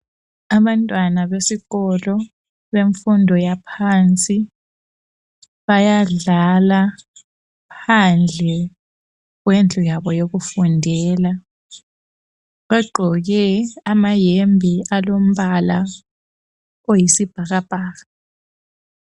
Abantwana besikolo bemfundo yaphansi bayadlala phandle kwendlu yabo yokufundela. Bagqoke amayembe alombala oyisibhakabhaka.